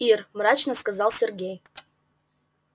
ир мрачно сказал сергей